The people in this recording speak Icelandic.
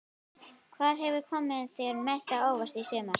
Hvað hefur komið þér mest á óvart í sumar?